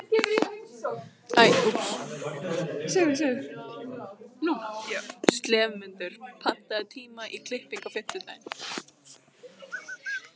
slefmundur, pantaðu tíma í klippingu á fimmtudaginn.